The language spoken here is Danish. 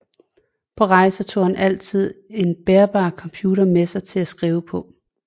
På rejser tog han altid en bærbar computer med sig til at skrive på